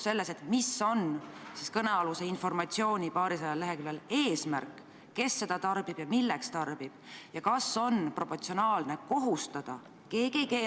See 21 000 on direktiivi lõikes 2 ette nähtud ettemaks, mida raudtee-ettevõtja peaks reisija surma korral maksma tema lähedastele.